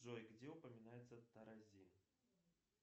джой где упоминается тарази